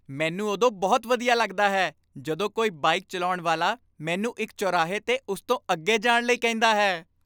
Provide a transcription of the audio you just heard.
ਮੈਨੂੰ ਉਦੋਂ ਬਹੁਤ ਵਧੀਆ ਲੱਗਦਾ ਹੈ ਜਦੋਂ ਕੋਈ ਬਾਈਕ ਚਲਾਉਣ ਵਾਲਾ ਮੈਨੂੰ ਇੱਕ ਚੌਰਾਹੇ 'ਤੇ ਉਸ ਤੋਂ ਅੱਗੇ ਜਾਣ ਲਈ ਕਹਿੰਦਾ ਹੈ।